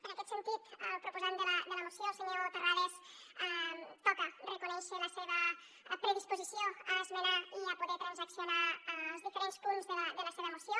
en aquest sentit al proposant de la moció el senyor terrades toca reconèixer li la seva predisposició a esmenar i a poder transaccionar els diferents punts de la seva moció